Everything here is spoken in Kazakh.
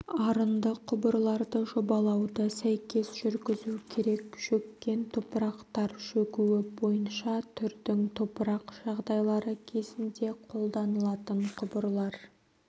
арынды құбырларды жобалауды сәйкес жүргізу керек шөккен топырақтар шөгуі бойынша түрдің топырақ жағдайлары кезінде қолданылатын құбырлар